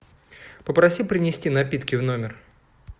попроси принести напитки в номер